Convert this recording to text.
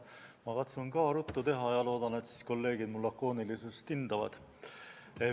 Ma katsun ka ruttu teha ja loodan, et kolleegid mul lakoonilisust hindavad.